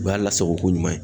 O y'a lasagoko ɲuman ye.